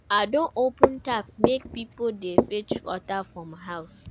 I don open tap make pipo dey fetch water from my house.